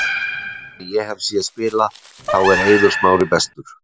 Af þeim sem ég hef séð spila, þá er Eiður Smári bestur.